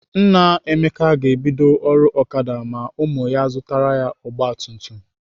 Nna Emeka ga-ebido ọrụ Okada ma ụmụ ya zụtara ya ọgbatumtum.